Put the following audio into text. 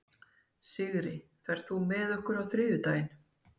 Sigri, ferð þú með okkur á þriðjudaginn?